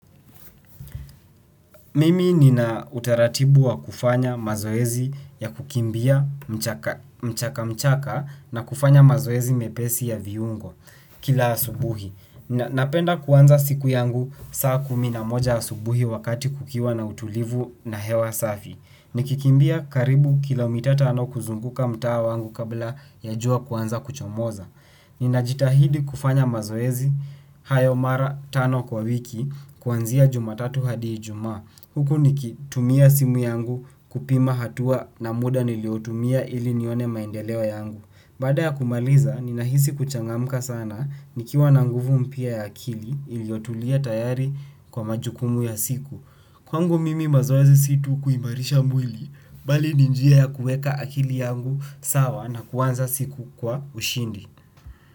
Mimi nina utaratibu wa kufanya mazoezi ya kukimbia mchaka mchaka na kufanya mazoezi mepesi ya viungo kila asubuhi. Napenda kuanza siku yangu saa kumi na moja asubuhi wakati kukiwa na utulivu na hewa safi. Nikikimbia karibu kilo mita tano kuzunguka mtaa wangu kabla ya jua kuanza kuchomoza. Nina jitahidi kufanya mazoezi, hayo mara tano kwa wiki kuanzia jumatatu hadi ijumaa huku nikitumia simu yangu kupima hatua na muda niliyotumia ili nione maendeleo yangu. Baada ya kumaliza ninahisi kuchangamka sana nikiwa na nguvu mpya ya akili iliyotulia tayari kwa majukumu ya siku. Kwangu mimi mazoezi si tu kuimarisha mwili bali ni njia ya kuweka akili yangu sawa na kuanza siku kwa ushindi.